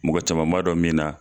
Mɔgɔ caman ma dɔn min na